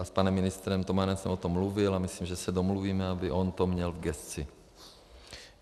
A s panem ministrem Tomanem jsem o tom mluvil a myslím, že se domluvíme, aby on to měl v gesci.